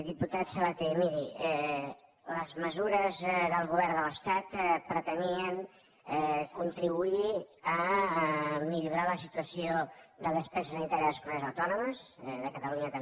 diputat sabaté miri les mesures del govern de l’estat pretenien contribuir a millorar la situació de despesa sanitària de les comunitats autònomes de catalunya també